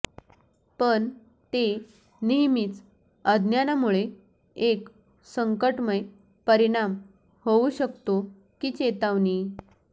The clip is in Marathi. पण ते नेहमीच अज्ञानामुळे एक संकटमय परिणाम होऊ शकतो की चेतावणी